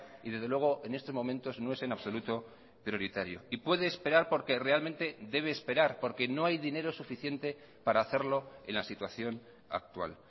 y desde luego en estos momentos no es en absoluto prioritario y puede esperar porque realmente debe esperar porque no hay dinero suficiente para hacerlo en la situación actual